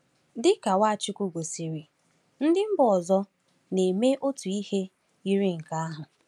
Dị ka Nwachukwu gosiri, ndị mba ọzọ na-eme otu ihe yiri nke ahụ.